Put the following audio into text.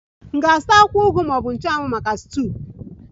M ga-azụta akwụkwọ ugu ma ọ bụ akwụkwọ nchụanwụ maka stuuyu?